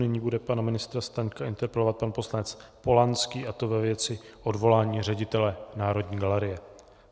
Nyní bude pana ministra Staňka interpelovat pan poslanec Polanský, a to ve věci odvolání ředitele Národní galerie.